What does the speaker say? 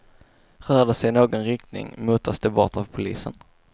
Rör de sig i någon riktning, motas de bort av polisen.